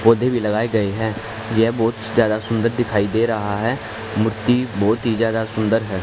पौधे भी लगाए गए हैं यह बहुत ज्यादा सुंदर दिखाई दे रहा है मूर्ति बहुत ही ज्यादा सुंदर है।